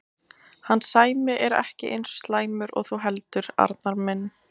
Hann Sæmi er ekki eins slæmur og þú heldur, Arnar minn.